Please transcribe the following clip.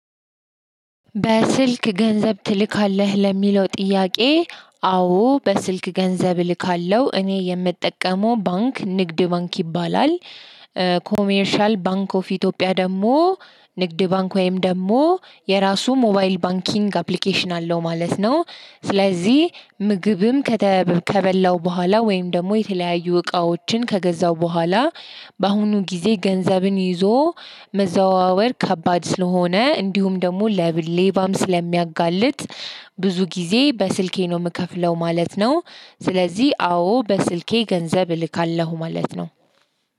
በስልክ ገንዘብ ትልካለህ? ለሚለው ጥያቄ አዎ በስልክ ገንዘብ እልካለሁ። እኔ የምጠቀመው ባንክ ንግድ ባንክ ይባላል። ኮሜርሻል ባንክ ኦፍ ኢትዮጵያ ደግሞ ንግድ ባንክ ወይም ደግሞ የራሱ ሞባይል ባንኪንግ አፕሊኬሽን አለው ማለት ነው። ስለዚህ ምግብም ከተ ከበላው በኋላ ወይም ደግሞ የተለያዩ እቃዎችን ከገዛው በኋላ በአሁኑ ጊዜ ገንዘብን ይዞ መዘዋወር ከባድ ስለሆነ እንዲሁም ደግሞ ለብ ሌባም ስለሚያጋልጥ ብዙ ጊዜ በስልኬ ነው የምከፍለው ማለት ነው። ስለዚህ አዎ በስልኬ ገንዘብ እልካለሁ ማለት ነው።